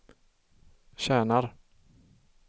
tjänar